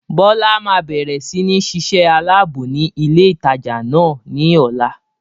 Bọlá má bẹ̀rẹ̀ sini ṣíṣe aláàbò ni ilé ìtajà náà ni ọ̀la.